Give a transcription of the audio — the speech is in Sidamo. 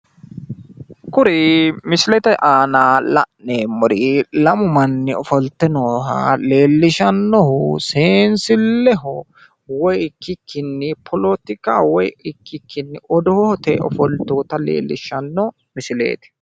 kuri misilete aana la'neemmori lamu manni ofolte nooha leellishannohu seensilleho woy ikkikkinni poletikaho woy ikkikkinni odoote ofolteyoota leellishshanno misileeti